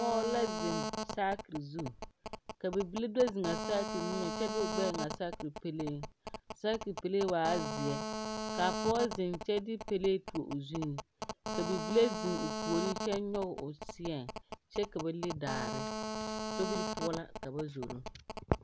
Pɔɔ la zeŋ saakire zu ka bibile o zeŋaa saakire niŋe kyɛ de o gbɛɛ eŋaa saakire pɛleeŋ saakire pɛlee waa zeɛ ka pɔg zeŋ kyɛ de pɛlee tuo o zuŋ ka bibil zeŋ o puoriŋ kyɛ nyoge o seɛŋ kyɛ a ba le daare sobiri poɔ la ka ba zoro.